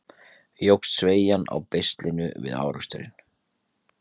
Jókst sveigjan á beislinu við áreksturinn?